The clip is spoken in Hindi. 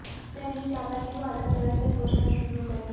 मैं नहीं चाहता कि वह अलग तरह से सोचना शुरू करें